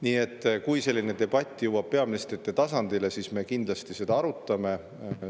Nii et kui selline debatt jõuab peaministrite tasandile, siis me kindlasti seda arutame.